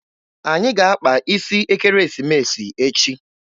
Anyị ga-akpa isi ekeresimesi echi.